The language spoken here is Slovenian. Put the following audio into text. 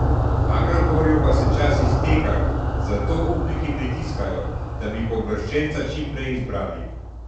Agrokorju pa se čas izteka, zato upniki pritiskajo, da bi pooblaščenca čim prej izbrali.